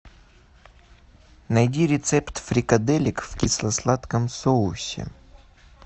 найди рецепт фрикаделек в кисло сладком соусе